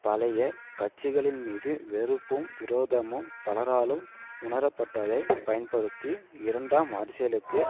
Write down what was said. பழைய கட்சிகளின்மீது வெறுப்பும் விரோதமும் பலராலும் உணரப்பட்டதைப் பயன்படுத்தி இரண்டாம் அரசியலுக்கு